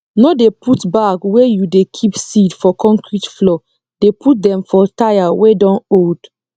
no dey put bag wey you dey keep seed for concrete floor dey put dem for tyre wey don old